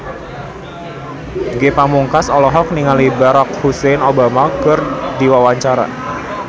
Ge Pamungkas olohok ningali Barack Hussein Obama keur diwawancara